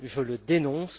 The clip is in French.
Je le dénonce.